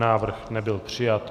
Návrh nebyl přijat.